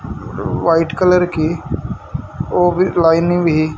white colour की ओ भी लाइनिंग भी--